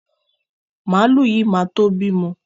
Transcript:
Màlúù yìí ma tó bímọ.